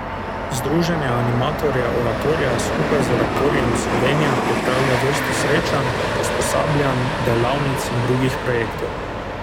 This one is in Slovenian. Združenje animatorjev Oratorija skupaj z Oratorijem Slovenija pripravlja vrsto srečanj, usposabljanj, delavnic in drugih projektov.